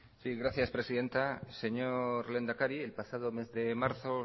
sí gracias presidenta señor lehendakari el pasado mes de marzo